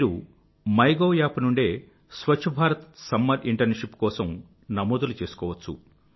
మీరు my gov app నుండే Swachh Bharat summer internship కోసం నమోదులు చేసుకోవచ్చు